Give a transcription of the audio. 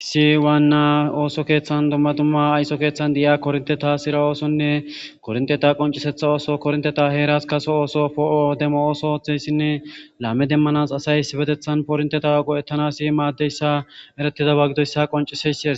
Issi waanna ooso keeththan dumma dumma ayso keeththan di'iya kornte taasira oosonne kornteta qoncisetha ooso kornteta heeras kaso ooso poo'o demo ooso ooththeyssinne laame demmanas asay iibetethan pornteta go7ettanasi maaddeyssa eretida wagidoyssa qonciseysiee.